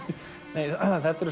nei þetta eru